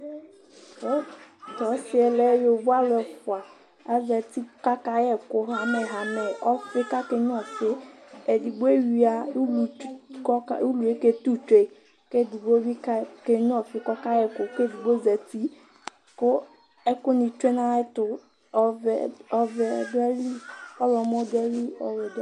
Tu ɔsiɛ lɛ yovó ɔlu ɛfua azati k'aka yɛku hamɛhamɛ ɔfiɛ k'aka ényua ɔfi, edigbo ewia ulu k'ɔkaetu tsuey, k'edigbo bi k'enyua ɔfi k'ɔka yiɛku, k'edigbo zati ku, ɛku nì tsue n'ayiɛtu ɔvɛ dù ayili, ɔwlɔmɔ dù ayili ɔwɛ dù ayili